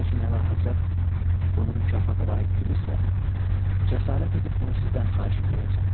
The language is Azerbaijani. Lakin əlahəzrət bunu mükafata layiq bilirsə, cəsarət edib bunu sizdən xahiş edəyəcəm.